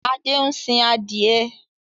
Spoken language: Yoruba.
Adé ń sin adìẹ.